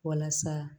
Walasa